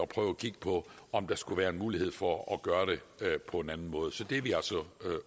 prøve at kigge på om der skulle være mulighed for at gøre det på en anden måde så det er vi